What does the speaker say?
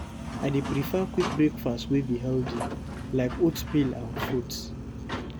I dey prefer quick breakfast wey be healthy, like oatmeal and fruits.